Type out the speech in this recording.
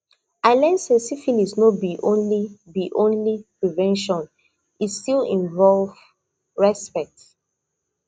i learn say syphilis no be only be only prevention e still involve respect